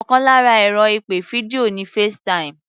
Ọkàn lára ẹ̀rọ ìpè fídíò ni FaceTime